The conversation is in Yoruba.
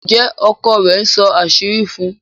Njé ọkọ rẹ̀ nsó àṣírí fún?